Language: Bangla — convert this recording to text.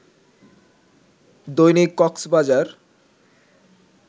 দৈনিক কক্সবাজার